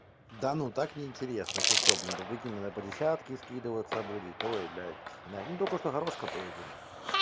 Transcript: да ну так неинтересно ты что блин да прикинь надо по десятке скидываться будет ой блядь ну только что горошка поедим